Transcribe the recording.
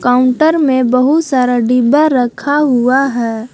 Counter में बहुत सारा डिब्बा रखा हुआ है।